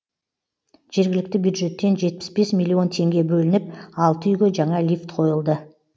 жергілікті бюджеттен жетпіс бес миллион теңге бөлініп алты үйге жаңа лифт қойылды